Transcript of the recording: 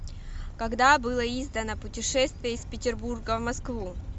когда было издано путешествие из петербурга в москву